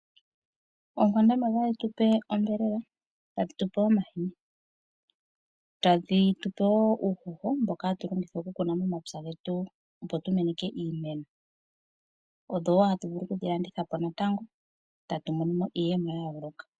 Oonkwandambi otadhi tule onyama. Ohadhi tupe wo omahini. Tadhi tupe wo uuhoho. Mboka hatu longitha oku kuna momapya getu, opo tu meneke iimeno. Odho wo tatu vulu okudhi landitha po etatu monomo iiyemo yayoloka.